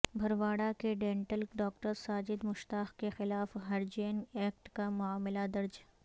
بھرواڑہ کے ڈینٹل ڈاکٹرساجد مشتاق کے خلاف ہریجن ایکٹ کا معاملہ درج